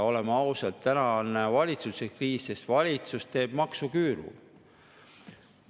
Oleme ausad, täna on valitsuskriis, sest valitsus teeb maksuküüru.